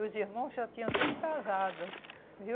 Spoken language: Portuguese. E os irmãos já tinham tudo casado, viu?